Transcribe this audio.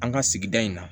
An ka sigida in na